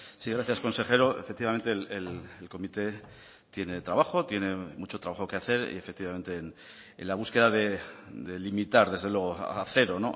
sí gracias consejero efectivamente el comité tiene trabajo tiene mucho trabajo que hacer y efectivamente en la búsqueda de limitar desde luego a cero